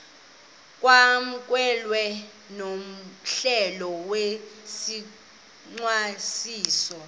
kwamkelwe nohlelo lwesicwangciso